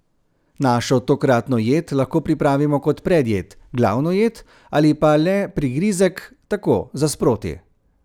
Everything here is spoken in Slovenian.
Našo tokratno jed lahko pripravimo kot predjed, glavno jed ali pa le prigrizek, tako, za sproti.